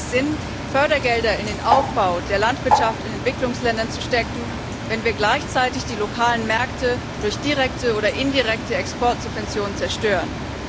B. wenig Sinn, Fördergelder in den Aufbau der Landwirtschaft in Entwicklungsländern zu stecken, wenn wir gleichzeitig die lokalen Märkte durch direkte oder indirekte Exportsubventionen zerstören.